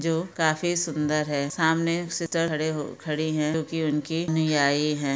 जो काफी सुंदर है सामने सिस्टर खड़ी हो खड़ी है जो की उनकी अनुयायी है ।